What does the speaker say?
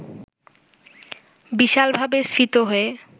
বিশালভাবে স্ফীত হয়ে